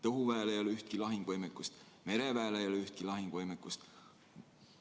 Õhuväel ei ole ühtki lahingvõimekust, mereväel ei ole ühtki lahingvõimekust.